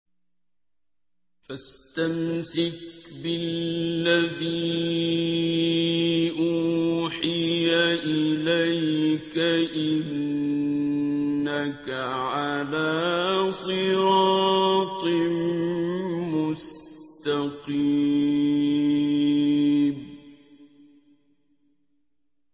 فَاسْتَمْسِكْ بِالَّذِي أُوحِيَ إِلَيْكَ ۖ إِنَّكَ عَلَىٰ صِرَاطٍ مُّسْتَقِيمٍ